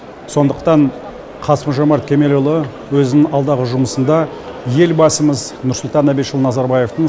сондықтан қасым жомарт кемелұлы өзінің алдағы жұмысында елбасымыз нұрсұлтан әбишұлы назарбаевтың